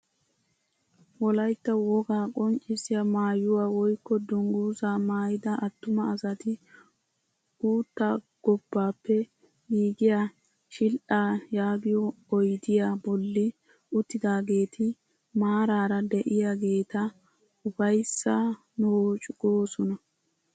Wolaytta wogaa qonccisiyaa maayuwaa woykko dunguzaa maayida attuma asati uuttaa gobbaappe giigiyaa shil"aa yaagiyoo oydiyaa bolli uttidageeti maarara de'iyaageta ufayssaa noocu goosona.